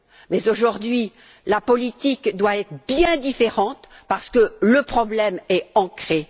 Mais aujourd'hui, la politique doit être bien différente, car le problème est ancré.